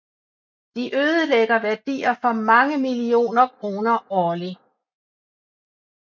De ødelægger værdier for mange millioner kroner årlig